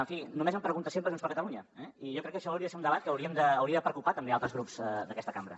en fi només em pregunta sempre junts per catalunya eh i jo crec que això hauria de ser un debat que hauria de preocupar també altres grups d’aquesta cambra